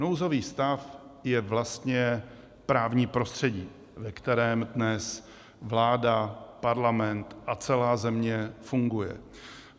Nouzový stav je vlastně právní prostředí, ve kterém dnes vláda, Parlament a celá země fungují.